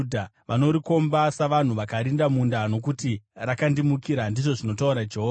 Vanorikomba savanhu vakarinda munda, nokuti rakandimukira,’ ” ndizvo zvinotaura Jehovha.